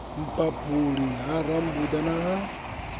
mphaphuli ha rambuḓa na ha